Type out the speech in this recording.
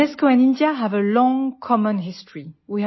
UNESCO and India have a long common history